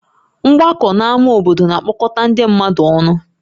Mgbakọ n'ámá obodo na-akpọkọta ndị mmadụ ọnụ